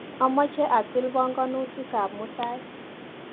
Amache atil panganutikap mutai.